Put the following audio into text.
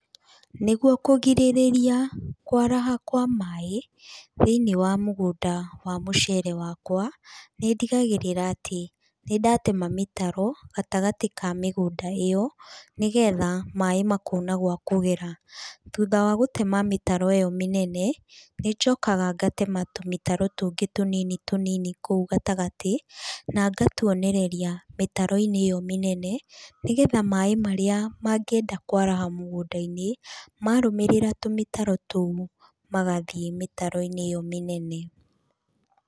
Nĩguo kũgirĩrĩria kwaraha kwa maĩ, thĩinĩ wa mũgũnda wa mũcere wakwa, nĩ ndigagĩrĩra atĩ nĩ ndatema mĩtaro gatagatĩ ka mĩgũnda ĩyo, nĩgetha maĩ makona gwa kũgera. Thutha wa gũtema mĩtaro ĩyo mĩnene nĩ njokaga ngatema tũmĩtaro tũngĩ tũnini tũnini kũu gatagatĩ, na ngatuonereria mĩtaro-inĩ ĩyo mĩnene, nĩgetha maĩ marĩa mangĩenda kwaraha mũgũnda-inĩ marũmĩrĩra tũmĩtaro tũu magathiĩ mĩtaro-inĩ ĩyo mĩnene.